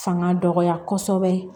Fanga dɔgɔya kosɛbɛ